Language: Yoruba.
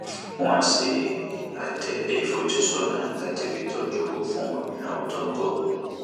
wọn ṣe àtẹ ìfojúsọnà láti fi tójú owó fún ìnáwó tó ń bọ